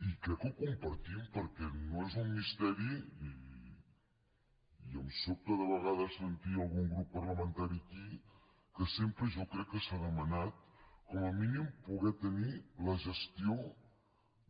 i crec que ho compartim perquè no és un misteri i em sobta de vegades sentir algun grup parlamentari aquí que sempre jo crec que s’ha demanat com a mínim poder tenir la gestió